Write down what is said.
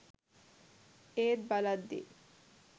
ඒත් බලද්දි